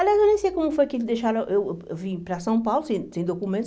Aliás, eu nem sei como foi que deixaram... Eu eu vim para São Paulo sem sem documento.